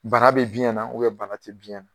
Bara be biyɛn na bana te biyɛn na